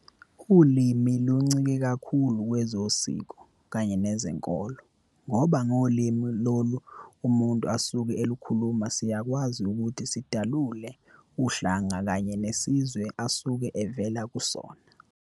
Ulimi luncike kakhulu kwezosiko kanye nezenkolo, ngoba ngolimi lolo umuntu asuke elukhuluma siyakwazi ukuthi sidalule uhlanga kanye nesizwe asuke evela kusona.